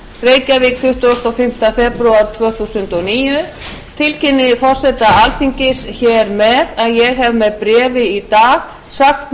reykjavík tuttugasta og fimmta febrúar tvö þúsund og níu tilkynni forseta alþingis hér með að ég hef með bréfi í dag sagt